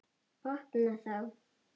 Opna þá.